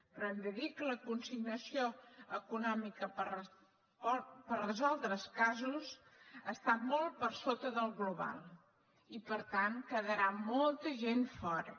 però hem de dir que la consignació econòmica per resoldre els casos està molt per sota del global i per tant quedarà molta gent fora